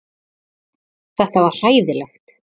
Þetta var hræðilegt.